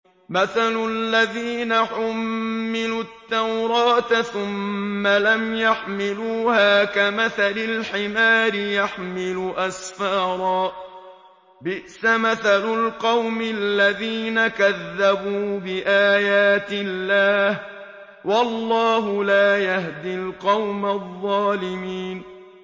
مَثَلُ الَّذِينَ حُمِّلُوا التَّوْرَاةَ ثُمَّ لَمْ يَحْمِلُوهَا كَمَثَلِ الْحِمَارِ يَحْمِلُ أَسْفَارًا ۚ بِئْسَ مَثَلُ الْقَوْمِ الَّذِينَ كَذَّبُوا بِآيَاتِ اللَّهِ ۚ وَاللَّهُ لَا يَهْدِي الْقَوْمَ الظَّالِمِينَ